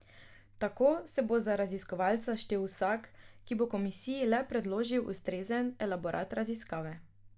Tako se bo za raziskovalca štel vsak, ki bo komisiji le predložil ustrezen elaborat raziskave.